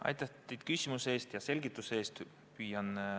Aitäh küsimuse ja selgituse eest!